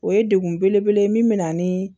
O ye degun belebele ye min bɛ na ni